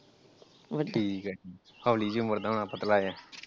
ਠੀਕਾ ਠੀਕਾ ਹੌਲੀ ਜਿਹੀ ਉਮਰ ਦਾ ਹੁਣਾ ਪਤਲਾ ਜਿਹਾ ।